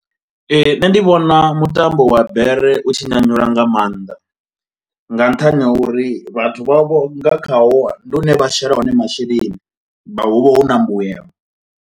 Ee nṋe ndi vhona mutambo wa bere u tshi nyanyula nga mannḓa, nga nṱhani ha uri vhathu vha vho nga khaho ndi hune vha shela hone masheleni vha hu vha hu na mbuyelo.